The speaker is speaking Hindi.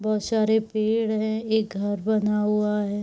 बहोत सारी पेड़ है। एक घर बना हुआ है।